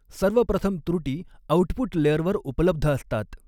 सर्व प्रथम त्रुटी आउटपुट लेयरवर उपलब्ध असतात.